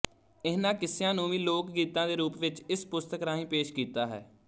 ਇਹਨਾਂ ਕਿੱਸਿਆਂ ਨੂੰ ਵੀ ਲੋਕ ਗੀਤਾਂ ਦੇ ਰੂਪ ਵਿੱਚ ਇਸ ਪੁਸਤਕ ਰਾਹੀਂ ਪੇਸ਼ ਕੀਤਾ ਹੈ